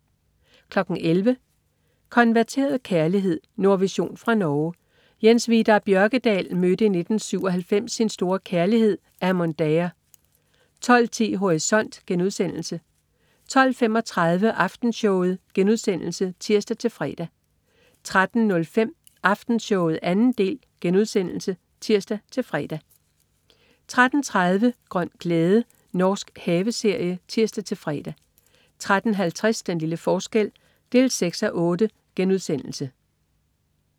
11.00 Konverteret kærlighed. Nordvision fra Norge. Jens Vidar Bjørkedal mødte i 1997 sin store kærlighed Amon Daher 12.10 Horisont* 12.35 Aftenshowet* (tirs-fre) 13.05 Aftenshowet 2. del* (tirs-fre) 13.30 Grøn glæde. Norsk haveserie (tirs-fre) 13.50 Den lille forskel 6:8*